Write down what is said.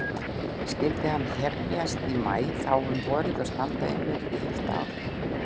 Skyldi hann hefjast í maí þá um vorið og standa yfir í heilt ár.